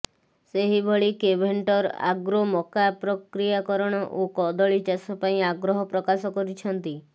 ସେହିଭଳି Keventer agro ମକା ପ୍ରକ୍ରିୟାକରଣ ଓ କଦଳୀ ଚାଷ ପାଇଁ ଆଗ୍ରହ ପ୍ରକାଶ କରିଛନ୍ତି